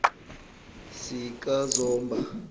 sikazomba